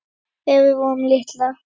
Þegar við vorum litlar.